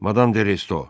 Madam Deresto.